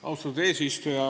Austatud eesistuja!